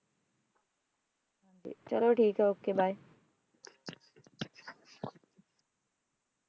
ਚਲੋ ਠੀਕ ਹੈ ok bye